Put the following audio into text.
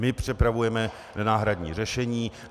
My připravujeme náhradní řešení.